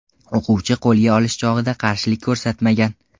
O‘quvchi qo‘lga olish chog‘ida qarshilik ko‘rsatmagan.